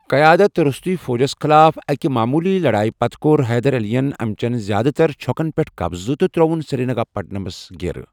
قیادت روستٗیہ فوجس خِلاف اکہِ معموٗلی لڑایہِ پتہٕ کوٚر حیدر علین امِچین زِیٛادٕ تر چھوكن پیٹھ قبضہٕ تہٕ تر٘ووٗن سرینگا پٹمس گیرٕ۔